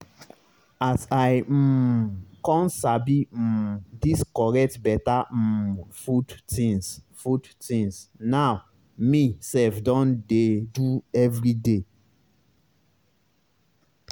as i um con sabi um dis correct beta um food tinz food tinz now me sef don dey do everyday